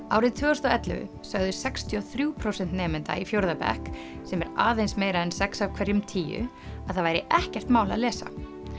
árið tvö þúsund og ellefu sögðu sextíu og þrjú prósent nemenda í fjórða bekk sem er aðeins meira en sex af hverjum tíu að það væri ekkert mál að lesa